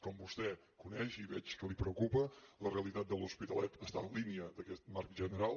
com vostè coneix i veig que el preocupa la realitat de l’hospitalet està en línia d’aquest marc general